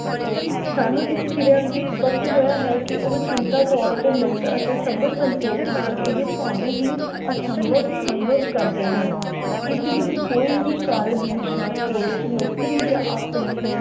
ਸਾਨੂੰ ਇਸ ਕਿਰਿਆ ਵਿਚ ਸਪਸ਼ਟ ਹੋਇਆ ਹੈ ਕੀ ਉਹ ਚਿੰਤਾ ਤੌਰ ਤੇ ਮੁਕਤ ਅਤੇ ਸਬਰ ਸੰਤੋਖ ਨਾਲ ਇਹ ਭਾਵੇਂ ਹੀ ਅਸੰਭਵ ਸੰਭਵ ਕਰਦੇ ਹਨ। ਇਸ ਵਿਚ ਕੋਈ ਵੀ ਕਾਰਜ ਵਿਸ਼ਾ, ਕੋਰਸ, ਨੌਕਰੀ ਜਾਂ ਆਪਣੇ